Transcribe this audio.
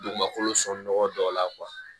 Dugumakolo sɔnɔgɔ dɔw la